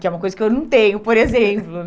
Que é uma coisa que eu não tenho, por exemplo.